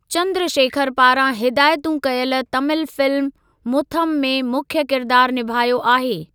चंद्रशेखर पारां हिदायतु कयलु तमिल फिल्म मुथम में मुख्य किरिदार निभायो आहे।